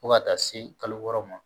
Fo ka taa se kalo wɔɔrɔ ma